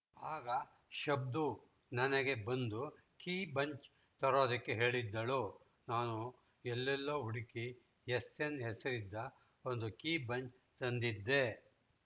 ಆಗ ಶಬ್ದು ನನಗೆ ಒಂದು ಕೀ ಬಂಚ್‌ ತರೋದಕ್ಕೆ ಹೇಳಿದ್ದಳು ನಾನು ಎಲ್ಲೆಲೋ ಹುಡುಕಿ ಎಸ್‌ಎನ್‌ ಹೆಸರಿದ್ದ ಒಂದು ಕೀ ಬಂಚ್‌ ತಂದಿದ್ದೆ